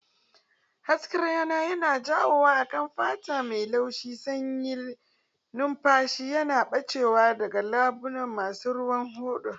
Hasken rana yana yawo a kan fata mai laushi, sanyin numfashi yana ɓacewa daga leɓuna masu ruwan hoda